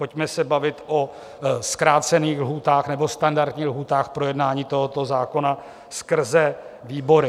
Pojďme se bavit o zkrácených lhůtách nebo standardních lhůtách projednání tohoto zákona skrze výbory.